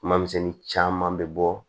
Kuma misɛnnin caman bɛ bɔ